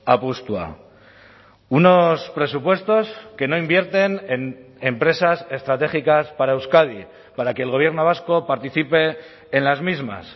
apustua unos presupuestos que no invierten en empresas estratégicas para euskadi para que el gobierno vasco participe en las mismas